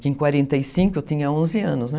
Porque em quarenta e cinco eu tinha onze anos, né?